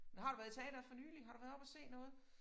Men har du været i teatret for nylig har du været oppe og se noget